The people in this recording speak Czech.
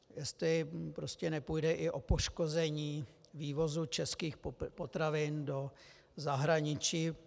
Jestli prostě nepůjde i o poškození vývozu českých potravin do zahraničí.